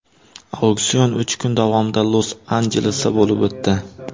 Auksion uch kun davomida Los-Anjelesda bo‘lib o‘tdi.